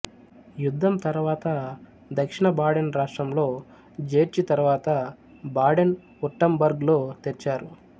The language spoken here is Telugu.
యుద్ధం తరువాత దక్షిణ బాడెన్ రాష్ట్రంలో జేర్చి తరువాత బాడెన్ఉర్టంబర్గ్ లో తెచ్చారు